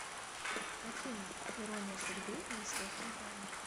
афина ирония судьбы или с легким паром